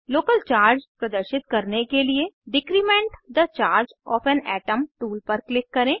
local charge प्रदर्शित करने के लिए decrement the charge of an atom tool पर क्लिक करें